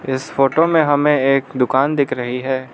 इस फोटो में हमें एक दुकान दिख रही है।